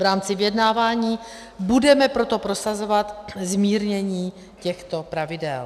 V rámci vyjednávání budeme proto prosazovat zmírnění těchto pravidel.